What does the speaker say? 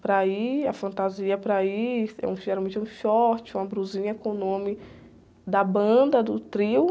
para ir, a fantasia para ir, é um, é geralmente um short, uma blusinha com o nome da banda, do trio.